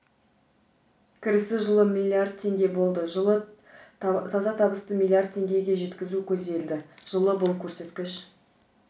кірісі жылы миллиард теңге болды жылы таза табысты миллиард теңгеге жеткізу көзделді жылы бұл көрсеткіш